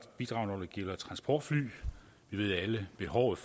bidrag der gælder transportfly vi ved alle at behovet